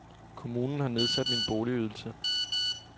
Kommunen har nedsat min boligydelse.